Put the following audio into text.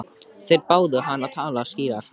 Þeir báðu hann að tala skýrar.